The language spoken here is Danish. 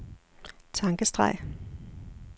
tankestreg